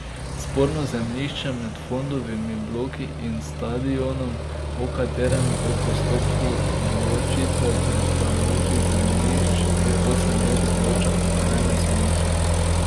Sporno zemljišče med Fondovimi bloki in stadionom, o katerem v postopku določitve pripadajočih zemljišč že osmo leto odloča okrajno sodišče.